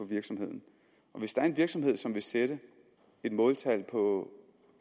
virksomhederne hvis der er en virksomhed som vil sætte et måltal på